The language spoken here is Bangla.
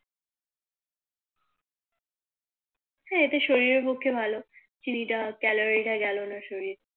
হ্যাঁ এটা শরীরের পক্ষে ভালো